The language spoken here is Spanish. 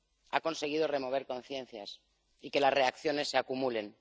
ha conseguido remover conciencias y que las reacciones se acumulen.